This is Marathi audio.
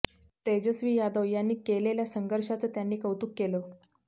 तेजस्वी यादव यांनी केलेल्या संघर्षाचं त्यांनी कौतुक केलं